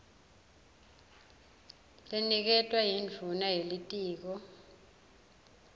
leniketwa yindvuna yelitiko